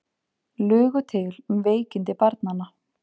Lugu til um veikindi barnanna